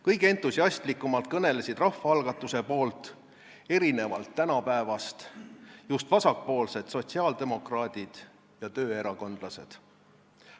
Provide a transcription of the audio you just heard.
Kõige entusiastlikumalt kõnelesid rahvaalgatuse poolt – erinevalt tänapäevast – just vasakpoolsed sotsiaaldemokraadid ja tööerakondlased.